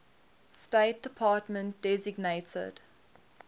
state department designated